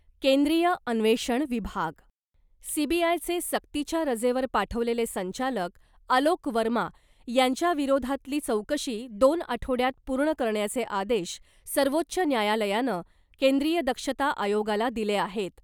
केंद्रीय अन्वेषण विभाग सीबीआयचे सक्तीच्या रजेवर पाठवलेले संचालक आलोक वर्मा यांच्या विरोधातली चौकशी दोन आठवड्यात पूर्ण करण्याचे आदेश सर्वोच्च न्यायालयानं केंद्रीय दक्षता आयोगाला दिले आहेत .